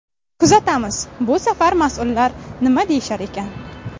Kuzatamiz, bu safar mas’ullar nima deyishar ekan?